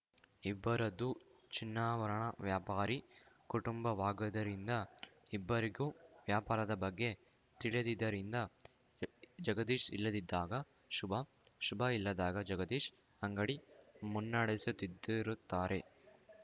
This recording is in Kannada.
ಇಬ್ಬರದ್ದು ಚಿನ್ನಾಭರಣ ವ್ಯಾಪಾರಿ ಕುಟುಂಬವಾಗದ್ದರಿಂದ ಇಬ್ಬರಿಗೂ ವ್ಯಾಪಾರದ ಬಗ್ಗೆ ತಿಳಿದಿದ್ದರಿಂದ ಜಗದೀಶ್‌ ಇಲ್ಲದಿದ್ದಾಗ ಶುಭ ಶುಭ ಇಲ್ಲದಾಗ ಜಗದೀಶ್‌ ಅಂಗಡಿ ಮುನ್ನಡೆಸುತ್ತಿತ್ತುರುತ್ತಾರೆ